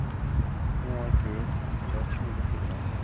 окей сейчас что-нибудь сыграем